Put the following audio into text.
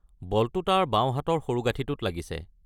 বলটো তাৰ বাওঁ হাতৰ সৰুগাঁঠিঁটোত লাগিছে।